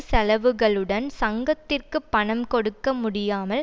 செலவுகளுடன் சங்கத்திற்குப் பணம் கொடுக்க முடியாமல்